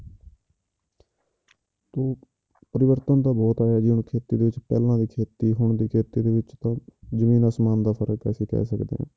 ਤੇ ਪਰਿਵਰਤਨ ਤਾਂ ਬਹੁਤ ਆਇਆ ਜੀ ਹੁਣ ਖੇਤੀ ਦੇ ਵਿੱਚ ਪਹਿਲਾਂ ਵਾਲੀ ਖੇਤੀ ਹੁਣ ਦੀ ਖੇਤੀ ਦੇ ਵਿੱਚ ਤਾਂ ਜ਼ਮੀਨ ਆਸਮਾਨ ਦਾ ਫ਼ਰਕ ਅਸੀਂ ਕਹਿ ਸਕਦੇ ਹਾਂ